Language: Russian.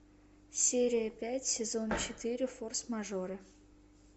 серия пять сезон четыре форс мажоры